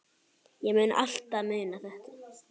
Ég mun alltaf muna þetta.